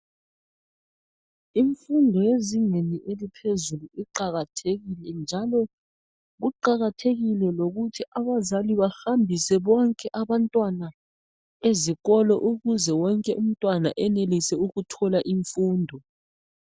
imfundo yezingeni eliphezulu iqakathekile njalo kuqathekile lokuthi abazali bahambise bobke abantwana ezikolo ukuze wonke umntwana enelise ukuthola imfundo